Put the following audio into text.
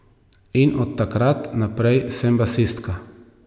In od takrat naprej sem basistka.